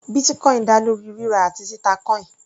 Bitcoin dá lórí rírà àti títà coin.